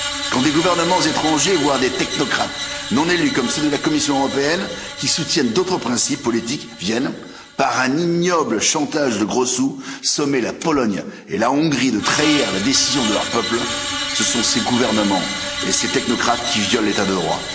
Quand des gouvernements étrangers, voire des technocrates non élus, comme ceux de la Commission européenne, qui soutiennent d'autres principes politiques, viennent, par un ignoble chantage de gros sous, sommer la Pologne et la Hongrie de trahir les décisions de leurs peuples, ce sont ces gouvernements et ces technocrates qui violent l'état de droit.